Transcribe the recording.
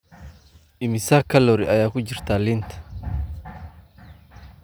Immisa kaloori ayaa ku jira liin